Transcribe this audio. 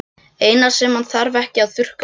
Eina sem hann þarf ekki að þurrka út.